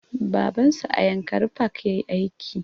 Baban su a yankari park yayi aiki